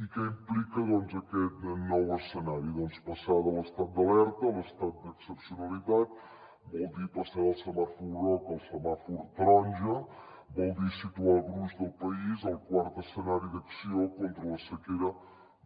i què implica doncs aquest nou escenari doncs passar de l’estat d’alerta a l’estat d’excepcionalitat vol dir passar del semàfor groc al semàfor taronja vol dir situar el gruix del país al quart escenari d’acció contra la sequera